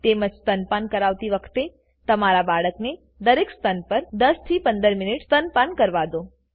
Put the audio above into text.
તેમજ સ્તનપાન કરાવતી વખતે તમારા બાળકને દરેક સ્તન પર 10 15 મિનિટ સ્તનપાન કરવા દો